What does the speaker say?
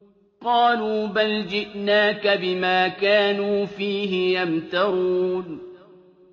قَالُوا بَلْ جِئْنَاكَ بِمَا كَانُوا فِيهِ يَمْتَرُونَ